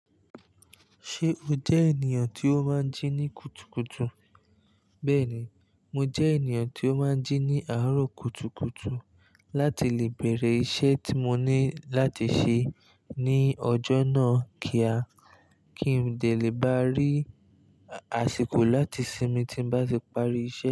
Ṣé o jẹ́ ènìyàn tí ó máa ń jí ní kùtùkùtù? Bẹ́ẹ̀ni, mo jẹ́ ènìyàn tí ó máa ń jí ní àárọ̀ kùtùkùtù láti lè bẹ̀rẹ̀ iṣẹ́ tí mo ní láti ṣe ní ọjọ́ náà kí a, kí n de lè bá rí àsìkò láti sinmi tí n bá ti parí iṣẹ́